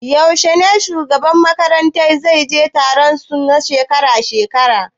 Yaushe ne shugaban makaranta zai je taron su na shekara-shekara?